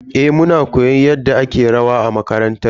Eh, muna koyon yadda ake rawa a makarantar mu.